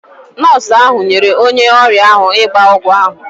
Nọọsụ ahụ nyere onye ọrịa ahụ ịgba ọgwụ ahụ.